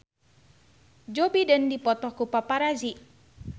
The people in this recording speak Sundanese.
Joe Biden dipoto ku paparazi